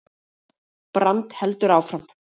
Brand heldur áfram